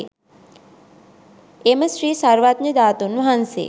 එම ශ්‍රී සර්වඥ ධාතුන් වහන්සේ